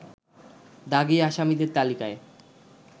দাগী আসামিদের তালিকায়